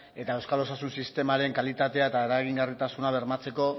eta euskal osasun sistemaren kalitatea eta eragingarritasuna bermatzeko